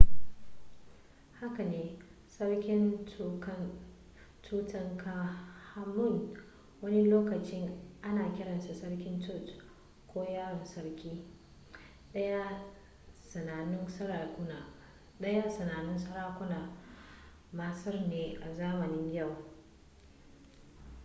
haka ne sarki tutankhamun wani lokaci ana kiransa sarki tut ko yaron sarki ɗayan sanannun sarakunan masar ne a zamanin yau